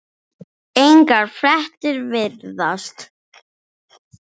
Engar fréttir virðast